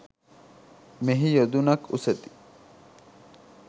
මෙහි යොදුනක් උසැති